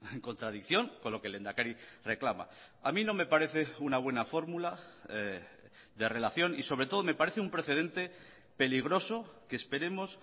en contradicción con lo que el lehendakari reclama a mí no me parece una buena fórmula de relación y sobre todo me parece un precedente peligroso que esperemos